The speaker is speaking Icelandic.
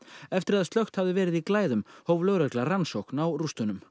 eftir að slökkt hafði verið í glæðum hóf lögreglan rannsókn á rústunum